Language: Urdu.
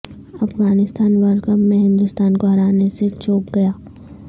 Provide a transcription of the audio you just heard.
افغانستان ورلڈکپ میں ہندوستان کو ہرانے سے چوک گیا